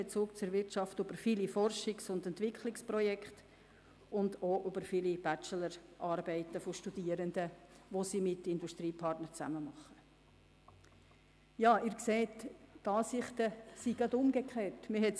Die BFH hat über zahlreiche Forschungs- und Entwicklungsprojekte sowie über viele Bachelorarbeiten von Studierenden, welche diese mit Partnern aus der Industrie verfassen, einen engen Bezug zur Wirtschaft.